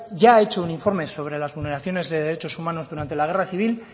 ya ha hecho un informe sobre las vulneraciones de derechos humanos durante la guerra civil